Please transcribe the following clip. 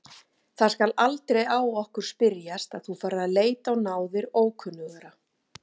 Það skal aldrei á okkur spyrjast að þú farir að leita á náðir ókunnugra.